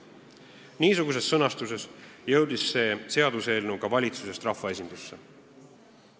Niisuguses sõnastuses jõudis see seaduseelnõu ka valitsusest rahvaesindusse.